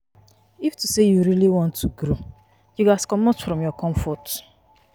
If to say you really want to grow, you ghas commot from your comfort.